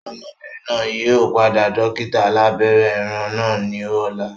Ọmọbìnrin náà yìí ó pàdé dókítà alàbẹ́rẹ́ ẹran náà ni ọ̀la